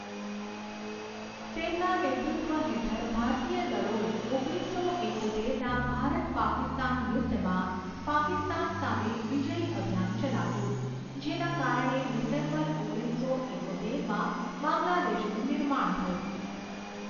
તેમના નેતૃત્વ હેઠળ, ભારતીય દળોએ ઓગણીસસો ઈકોતેરના ભારત પાકિસ્તાન યુદ્ધમાં પાકિસ્તાન સામે વિજયી અભિયાન ચલાવ્યું, જેના કારણે ડિસેમ્બર ઓગણીસસો ઈકોતેરમાં બાંગ્લાદેશનું નિર્માણ થયું.